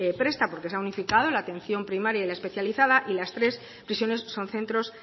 presta porque se ha unificado la atención primaria y la especializada y las tres prisiones son centros